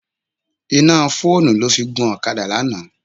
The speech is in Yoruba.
Iná fóònù ló fi gun ọ̀kadà lánàá.